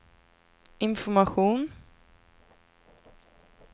information